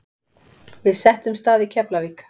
Við settumst að í Keflavík.